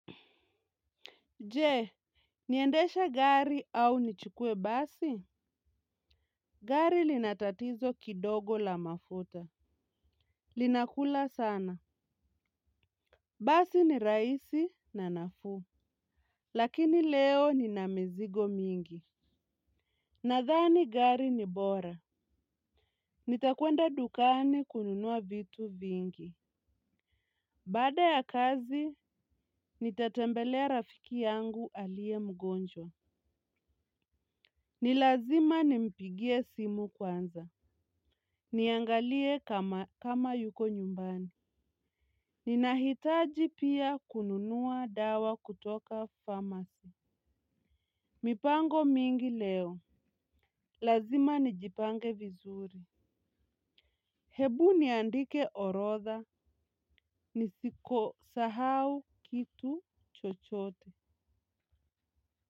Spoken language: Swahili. Je niendeshe gari au nichukue basi. Gari lina tatizo kidogo la mafuta. Linakula sana. Basi ni rahisi na nafuu. Lakini leo nina mizigo mingi. Nadhani gari ni bora. Nitakuenda dukani kununua vitu vingi. Baada ya kazi, nitatembelea rafiki yangu aliye mgonjwa. Ni lazima nimpigie simu kwanza. Niangalie kama yuko nyumbani. Ninahitaji pia kununua dawa kutoka pharmacy. Mipango mingi leo. Lazima nijipange vizuri. Hebu niandike orodha. Nisiko sahau kitu chochote.